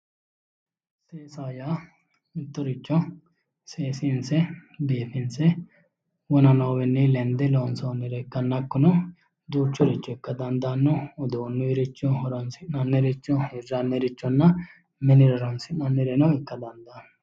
Seesaho yaa seesiinse biifinse wona noowiinni lende loonsoonnire ikkanna hakkuno, duuchuricho ikka dandaanno uduunnuuyiricho horoonsi'nanniricho hirrannirichonna minira horoonsi'nanniricho ikka dandaanno.